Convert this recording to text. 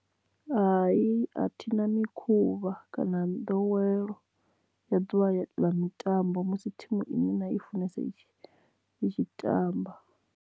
Hai a thi na mikhuvha kana nḓowelo ya ḓuvha ḽa mitambo musi thimu ine nda i funesa i tshi tamba.